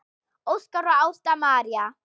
Óskar og Ásta María.